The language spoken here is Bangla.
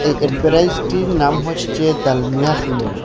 এই অ্যাডভেটাইজটির নাম হচ্ছে ডালমিয়া সিমেন্ট ।